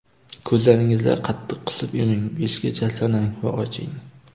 Ko‘zlaringizni qattiq qisib yuming, beshgacha sanang va oching.